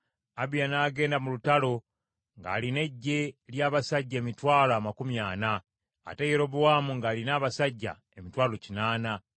Abiya n’agenda mu lutalo ng’alina eggye lya basajja emitwalo amakumi ana, ate Yerobowaamu ng’alina abasajja emitwalo kinaana.